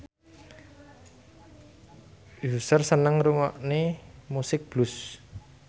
Usher seneng ngrungokne musik blues